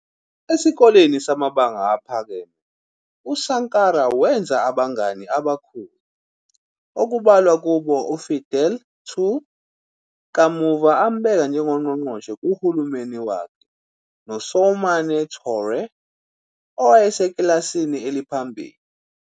Esikoleni samabanga aphakeme, uSankara wenza abangani abakhulu, okubalwa kubo uFidèle Too, kamuva ambeka njengqongqoshe kuhulumeni wakhe, noSoumane Touré, owayesekilasini eliphambili.